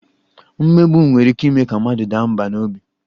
Mmegbu nwere ike ime ka mmadụ daa mbà n'obi